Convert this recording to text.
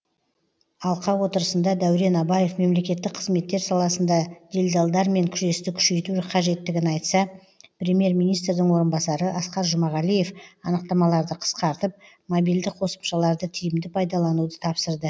алқа отырысында дәурен абаев мемлекеттік қызметтер саласында делдалдармен күресті күшейту қажеттігін айтса премьер министрдің орынбасары асқар жұмағалиев анықтамаларды қысқартып мобильді қосымшаларды тиімді пайдалануды тапсырды